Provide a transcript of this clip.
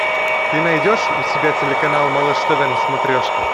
ты найдешь у себя телеканал малыш тв на смотрешке